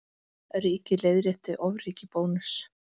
Ríkið leiðrétti ofríki Bónuss